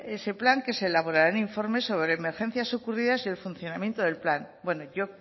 ese plan que se elaborarán informes sobre emergencias ocurridas y el funcionamiento del plan bueno yo